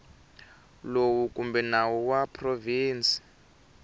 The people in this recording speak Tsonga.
lowu kumbe nawu wa provinsi